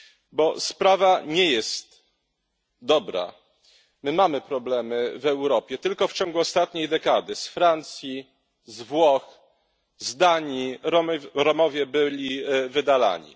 Bo sprawa nie jest dobra my mamy problemy w Europie. Tylko w ciągu ostatniej dekady z Francji, z Włoch, z Danii Romowie byli wydalani.